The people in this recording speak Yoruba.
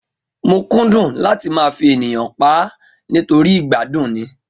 Mo kúndùn láti máa fi ènìyàn páá nítorí ìgbádùn ni